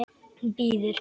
Hún bíður!